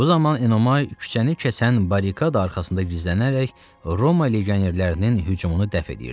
Bu zaman Enomay küçəni kəsən barikada arxasında gizlənərək Roma legionerlərinin hücumunu dəf edirdi.